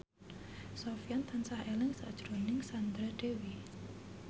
Sofyan tansah eling sakjroning Sandra Dewi